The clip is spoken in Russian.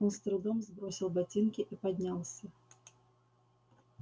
он с трудом сбросил ботинки и поднялся